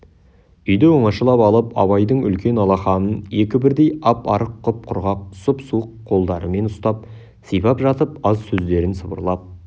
үйді оңашалап алып абайдың үлкен алақанын екі бірдей ап-арық құп-құрғақ сұп-суық қолдарымен ұстап сипап жатып аз сөздерін сыбырлап